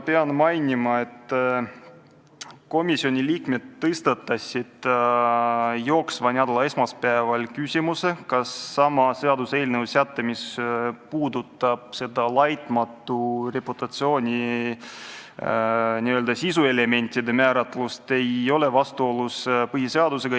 Pean mainima, et komisjoni liikmed tõstatasid sel esmaspäeval küsimuse, kas sama seaduseelnõu säte, mis sisaldab laitmatu reputatsiooni n-ö sisuelementide määratlust, ei ole vastuolus põhiseadusega.